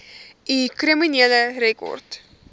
u kriminele rekord